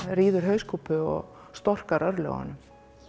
ríður hauskúpu og storkar örlögunum